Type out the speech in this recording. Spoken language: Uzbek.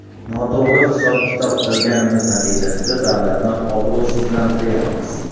Noto‘g‘ri hisob-kitob qilganimiz natijasida davlatni obro‘sizlantiryapmiz.